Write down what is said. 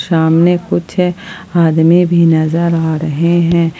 सामने कुछ आदमी भी नजर आ रहे हैं।